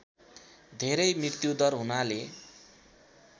धेरै मृत्युदर हुनाले